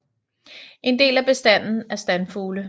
En del af bestanden er standfugle